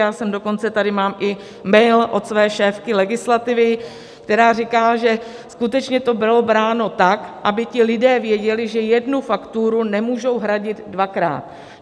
Já jsem dokonce, tady mám i mail od své šéfky legislativy, která říká, že skutečně to bylo bráno tak, aby ti lidé věděli, že jednu fakturu nemůžou hradit dvakrát.